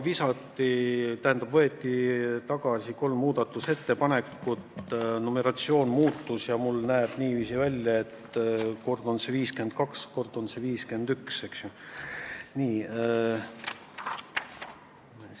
Peale seda, kui võeti tagasi kolm muudatusettepanekut, numeratsioon muutus ja mul näevad väljatrükid niiviisi välja, et kord on see ettepanek 52, kord 51.